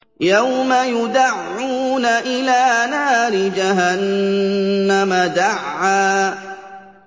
يَوْمَ يُدَعُّونَ إِلَىٰ نَارِ جَهَنَّمَ دَعًّا